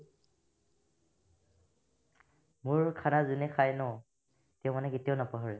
মোৰ খানা যোনে খাই ন তেওঁ মানে কেতিয়াও নাপাহৰে